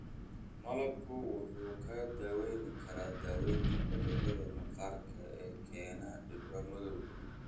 Malabku wuxuu kaa caawin karaa daaweynta cudurrada maqaarka ee keena dhibco madow.